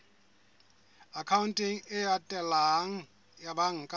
akhaonteng e latelang ya banka